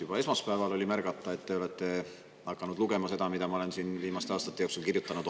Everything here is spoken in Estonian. Juba esmaspäeval oli märgata, et te olete hakanud lugema seda, mida ma olen viimaste aastate jooksul kirjutanud.